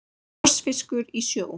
Krossfiskur í sjó.